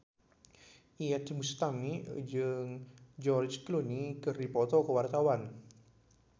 Iyeth Bustami jeung George Clooney keur dipoto ku wartawan